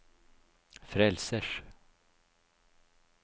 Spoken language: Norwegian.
frelsers